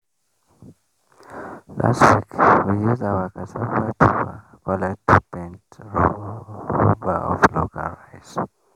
last week we use our cassava tuber collect two paint rubber of local rice.